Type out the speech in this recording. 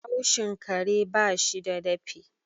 haushin kare ba shi da dafi